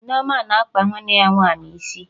Nneoma na-akpa nwanne ya nwaanyị isi